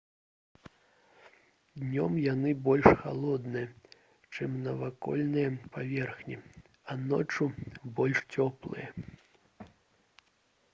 «днём яны больш халодныя чым навакольныя паверхні а ноччу — больш цёплыя»